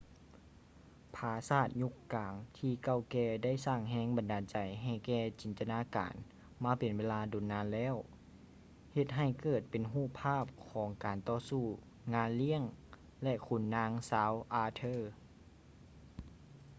ຜາສາດຍຸກກາງທີ່ເກົ່າແກ່ໄດ້ສ້າງແຮງບັນດານໃຈໃຫ້ແກ່ຈິນຕະນາການມາເປັນເວລາດົນນານແລ້ວ ເຮັດໃຫ້ເກີດເປັນຮູບພາບຂອງການຕໍ່ສູ້ ງານລ້ຽງ ແລະ ຂຸນນາງຊາວອາເທີ